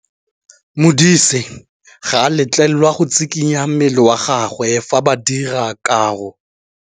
Modise ga a letlelelwa go tshikinya mmele wa gagwe fa ba dira karô.